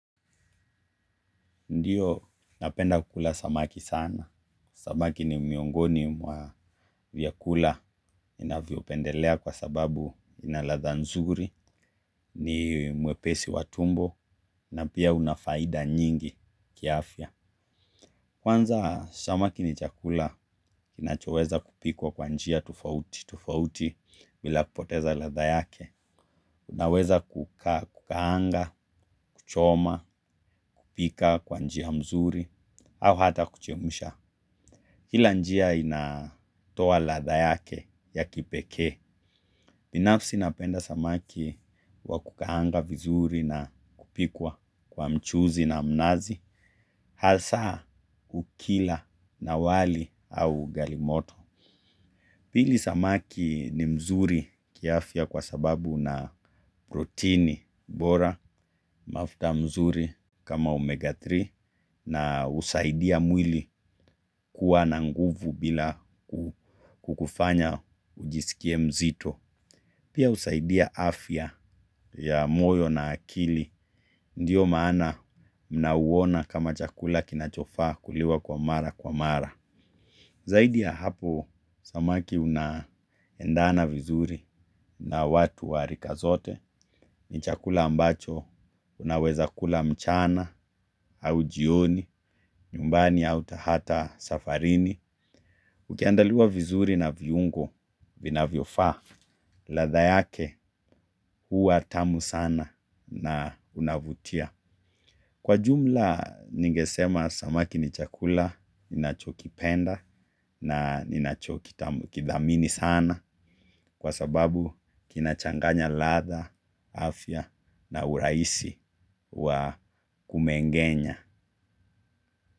Ndiyo napenda kukula samaki sana. Samaki ni miongoni mwa vyakula ninavyo pendelea kwa sababu inaladha nzuri, ni mwepesi watumbo, na pia unafaida nyingi kiafya. Kwanza samaki ni chakula kinachoweza kupikwa kwa njia tofauti tofauti bila kupoteza ladha yake. Unaweza kukaanga, kuchoma, kupika kwa njia mzuri, au hata kuchemsha. Kila njia inatoa ladha yake ya kipekee binafsi napenda samaki wa kukaanga vizuri na kupikwa kwa mchuzi na mnazi. Hasa kukila na wali au ugalimoto. Pili samaki ni mzuri kiafya kwa sababu una protini bora mafta mzuri kama omega tatu na husaidia mwili kuwa na nguvu bila kukufanya ujisikie mzito. Pia husaidia afya ya moyo na akili ndiyo maana mnauwona kama chakula kinachofaa kuliwa kwa mara kwa mara. Zaidi ya hapo samaki unaendana vizuri na watu wa rika zote ni chakula ambacho unaweza kula mchana au jioni, nyumbani au hata safarini. Ukiandaliwa vizuri na viungo vinavyofaa, ladha yake huwa tamu sana na unavutia. Kwa jumla ningesema samaki ni chakula, ninachoki penda na ninachoki kidhamini sana kwa sababu kinachanganya ladha, afya na urahisi wa kumengenya.